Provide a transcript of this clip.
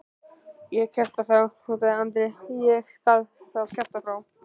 Ég kjafta þá, hótaði Andri, ég skal þá kjafta frá.